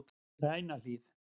Grænahlíð